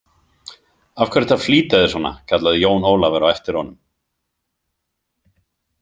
Af hverju ertu að flýta þér svona, kallaði Jón Ólafur á eftir honum.